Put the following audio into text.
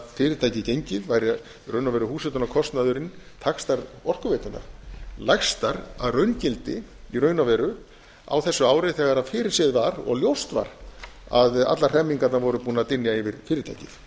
fyrirtæki gengið væri í raun og veru húshitunarkostnaðurinn taxtar orkuveitunnar lægstar að raungildi í raun og veru á þessu ári þegar fyrirséð var og ljóst var að allar hremmingarnar voru búnar að dynja yfir fyrirtækið